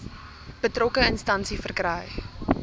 betrokke instansie verkry